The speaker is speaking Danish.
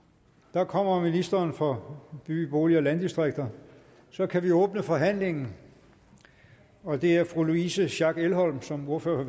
der kommer ministeren for by bolig og landdistrikter så kan vi åbne forhandlingen og det er fru louise schack elholm som ordfører